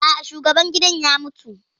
A'a, shugaban gidan ya mutu